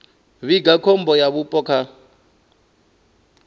vhiga khombo ya vhupo kha